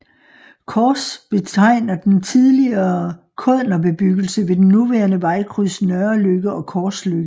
Kors betegner en tidligere kådnerbebyggelse ved den nuværende vejkryds Nørreløkke og Korsløkke